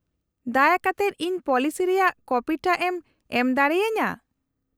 -ᱫᱟᱭᱟ ᱠᱟᱛᱮᱫ ᱤᱧ ᱯᱚᱞᱤᱥᱤ ᱨᱮᱭᱟᱜ ᱠᱚᱯᱤ ᱴᱟᱜ ᱮᱢ ᱮᱢ ᱫᱟᱲᱮ ᱟᱹᱧᱟᱹ ?